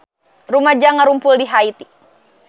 Rumaja ngarumpul di Haiti